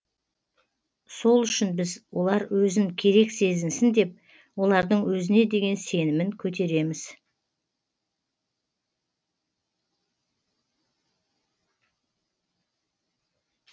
сол үшін біз олар өзін керек сезінсін деп олардың өзіне деген сенімін көтереміз